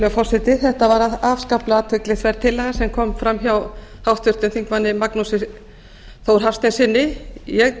virðulegur forseti þetta var afskaplega athyglisverð tillaga sem kom fram hjá háttvirtum þingmanni magnúsi þór hafsteinssyni ég